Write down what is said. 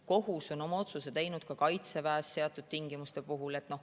Kohus on oma otsuse teinud ka Kaitseväes seatud tingimuste puhul.